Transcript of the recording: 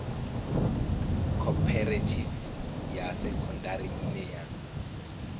khophorethivi ya sekondari ine ya